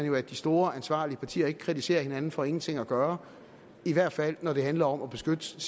jo at de store ansvarlige partier ikke kritiserer hinanden for ingenting at gøre i hvert fald når det handler om at beskytte